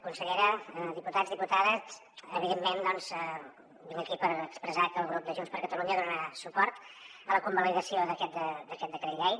consellera diputats i diputades evidentment doncs vinc aquí per expressar que el grup de junts per catalunya donarà suport a la convalidació d’aquest decret llei